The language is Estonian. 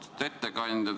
Austatud ettekandja!